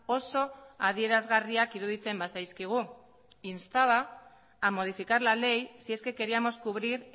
oso adierazgarriak iruditzen bazaizkigu instaba a modificar la ley si es que queríamos cubrir